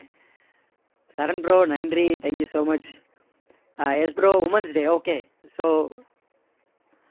சரண் bro நன்றி thank you so much ah yes bro women's day okay so